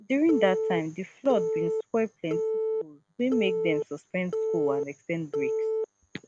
during dat time di flood bin spoil plenti schools wey make dem suspend school and ex ten d breaks